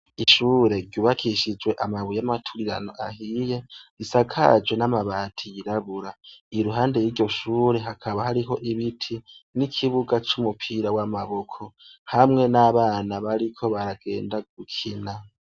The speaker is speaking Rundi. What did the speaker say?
Ishure ryubakishijwe amabuye, amaturirano ahiye, isakajwe n'amabati yirabura. Iruhande y'iryo shure hakaba hariho ibiti, n'ikibuga c'umupira w'amaboko hamwe n'abana bariko baragenda gukina.